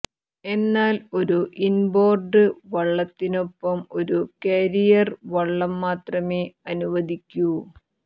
എന്നാൽ ഒരു ഇൻബോർഡ് വള്ളത്തിനൊപ്പം ഒരു ക്യാരിയർ വള്ളം മാത്രമെ അനുവദിക്കൂ